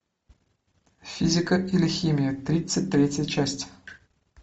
физика или химия тридцать третья часть